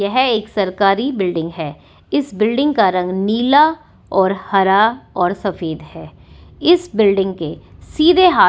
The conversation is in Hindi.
यह एक सरकारी बिल्डिंग है इस बिल्डिंग का रंग नीला और हरा और सफेद है इस बिल्डिंग के सीधे हाथ--